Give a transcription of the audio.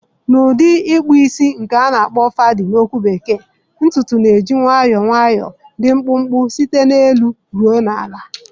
Na udi ikpu isi nke na akpo fadi na okwu bekee, ntutu na-eji nwayọọ nwayọọ dị mkpụmkpụ site n'elu ruo na ala.